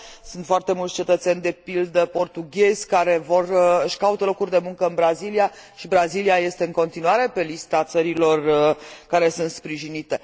sunt foarte mulți cetățeni, de pildă portughezi, care își caută locuri de muncă în Brazilia, și Brazilia este în continuare pe lista țărilor care sunt sprijinite.